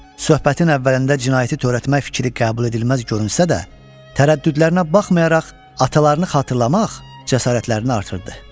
Söhbətin əvvəlində cinayəti törətmək fikri qəbul edilməz görünsə də, tərəddüdlərinə baxmayaraq atalarını xatırlamaq cəsarətlərini artırdı.